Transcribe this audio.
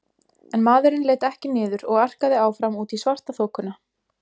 En maðurinn leit ekki niður og arkaði áfram út í svartaþokuna.